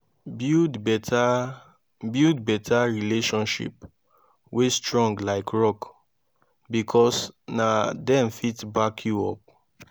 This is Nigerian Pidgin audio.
build beta build beta relationship wey strong like rock bikos na dem fit back yu up